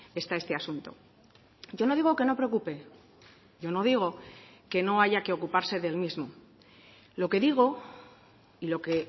está este asunto yo no digo que no preocupe yo no digo que no haya que ocuparse del mismo lo que digo y lo que